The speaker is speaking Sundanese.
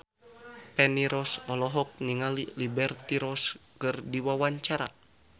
Feni Rose olohok ningali Liberty Ross keur diwawancara